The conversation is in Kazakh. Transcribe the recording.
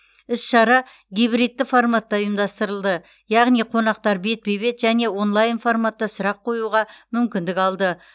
іс шара гибридті форматта ұйымдастырылды яғни қонақтар бетпе бет және онлайн форматта сұрақ қоюға мүмкіндік алды